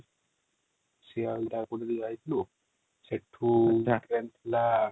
ସେଠୁ |